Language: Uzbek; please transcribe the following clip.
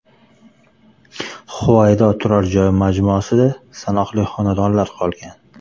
Huvaydo turar joy majmuasida sanoqli xonadonlar qolgan.